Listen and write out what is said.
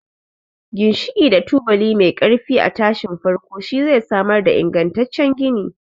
Ginshiki da tubali mai ƙarfi a tashin farko shi zai samar da ingantaccen gini.